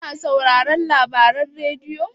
kuna sauraron labaran rediyo?